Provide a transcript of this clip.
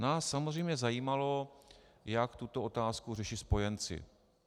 Nás samozřejmě zajímalo, jak tuto otázku řeší spojenci.